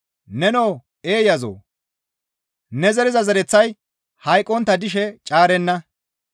Nenoo eeyazoo! Ne zeriza zereththay hayqqontta dishe caarenna.